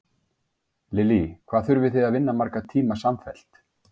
Lillý: Hvað þurfið þið að vinna marga tíma samfellt?